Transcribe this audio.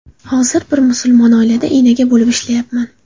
Hozir bir musulmon oilada enaga bo‘lib ishlayapman.